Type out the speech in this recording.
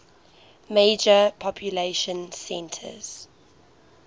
major population centers